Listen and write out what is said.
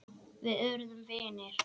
Við urðum vinir.